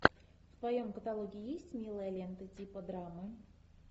в твоем каталоге есть милая лента типа драмы